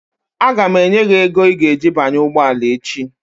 Aga m enye gị ego i ga-eji banye ụgbọala echi